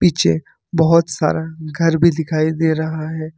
पीछे बहोत सारा घर भी दिखाई दे रहा है।